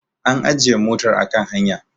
an ajiye motar a kan hanya